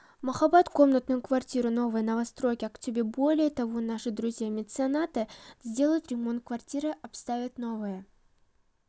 маіаббат комнатную квартиру новой новостройке актобе более того наши друзья-меценаты сделают ремонт квартиры обставят новое